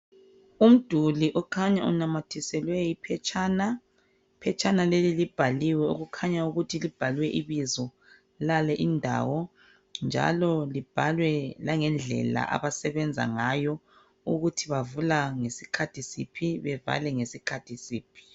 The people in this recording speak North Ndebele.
Umduli okhanya unamathiselwe iphetshana iphetshana leli libhaliwe okukhanya ukuthi libhalwe ibizo lale indawo njalo libhalwe langendlela abasebenza ngayo ukuthi bavula ngesikhathi siphi bevale ngesikhathi siphi.